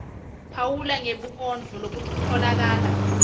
phawula ngebunkondlo lobutfolakala